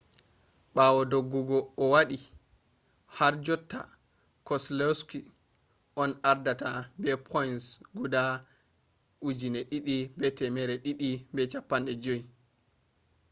ɓawo doggugo o waɗi harjotta keselowski on ardata be points guda 2,250